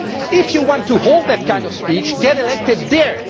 If you want to hold that kind of speech, get elected there.